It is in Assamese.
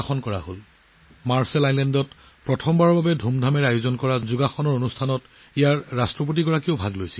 দেশখন ৰাষ্ট্ৰপতিয়েও প্ৰথমবাৰৰ বাবে মাৰ্শ্বাল দ্বীপপুঞ্জত অনুষ্ঠিত যোগ দিৱস কাৰ্যসূচীত অংশগ্ৰহণ কৰে